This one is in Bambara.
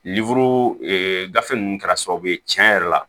gafe ninnu kɛra sababu ye tiɲɛ yɛrɛ la